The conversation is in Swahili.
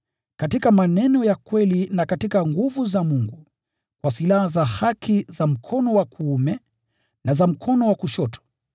katika maneno ya kweli na katika nguvu za Mungu, kwa silaha za haki za mkono wa kuume na za mkono wa kushoto;